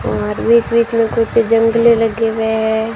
और बीच बीच में कुछ जंगले लगे हुए हैं।